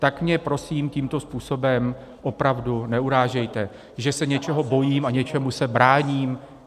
Tak mě prosím tímto způsobem opravdu neurážejte, že se něčeho bojím a něčemu se bráním.